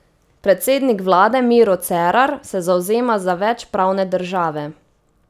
Predsednik vlade Miro Cerar se zavzema za več pravne države.